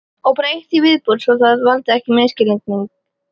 Og bara eitt í viðbót svo það valdi ekki misskilningi.